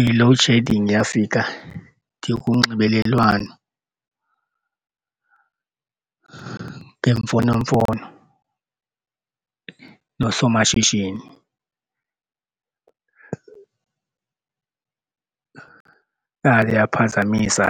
I-loadshedding yafika ndikunxibelelwano ngemfonomfono noosomashishini yaphazamisa